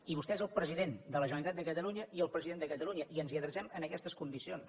i vostè és el president de la generalitat de catalunya i el president de catalunya i ens hi adrecem en aquestes condicions